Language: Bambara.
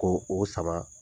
Ko o sama.